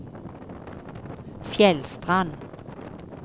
Fjellstrand